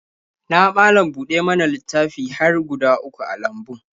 Na malam-buɗa-mana-littafi har guda uku a lambun.